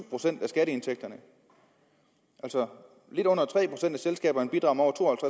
procent af skatteindtægterne altså lidt under tre procent af selskaberne bidrager